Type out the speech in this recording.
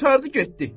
Qurtardı, getdi.